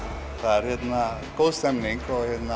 það er góð stemning